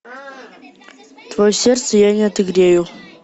твое сердце я не отогрею